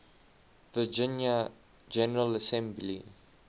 virginia general assembly